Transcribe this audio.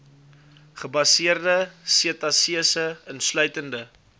gebaseerde setasese insluitende